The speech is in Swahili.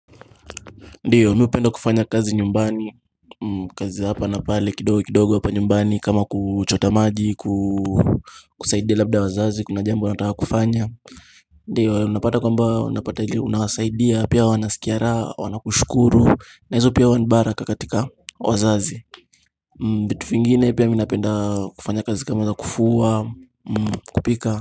Ndiyo mi hupenda kufanya kazi nyumbani kazi hapa na pale kidogo kidogo hapa nyumbani kama kuchota maji kusaidia labda wazazi kuna jambo wanataka kufanya Ndiyo unapata kwamba unapata ili unawasaidia pia wanasikia raha wanakushukuru na hizo pia huwa ni baraka katika wazazi vitu vingine pia mi napenda kufanya kazi kama ya kufua, kupika.